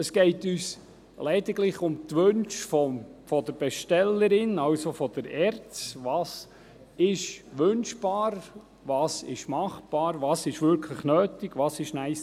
Es geht uns lediglich um die Wünsche der Bestellerin, also der ERZ, dahingehend was wünschbar, was machbar, was notwendig, was «nice to have» ist.